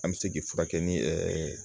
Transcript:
An bɛ se k'i furakɛ ni